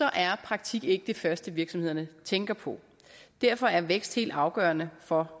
er praktik ikke det første virksomhederne tænker på derfor er vækst helt afgørende for